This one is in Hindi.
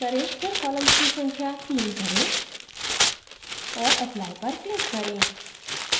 फिर columns की संख्या 3 करें और apply पर click करें